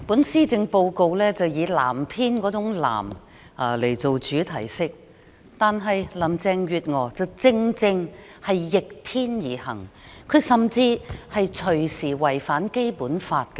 施政報告以天藍色為主題色，但林鄭月娥卻正正逆天而行，甚至隨時可能違反《基本法》，實在非常諷刺。